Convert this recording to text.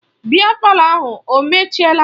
Biya palọ ahụ o mechiela?